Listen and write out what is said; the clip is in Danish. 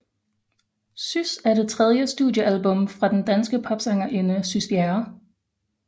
Sys er det tredje studiealbum fra den danske popsangerinde Sys Bjerre